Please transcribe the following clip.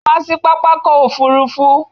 Come to the airport.